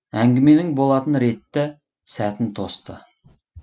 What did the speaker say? әңгіменің болатын ретті сәтін тосты